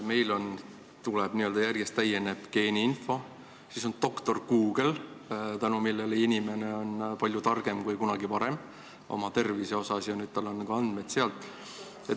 Meil on e-tervis ja järjest täienev geeniinfo, siis on doktor Google, tänu millele inimene on palju targem kui kunagi varem oma tervise koha pealt, sest nüüd ta leiab andmeid ka sealt.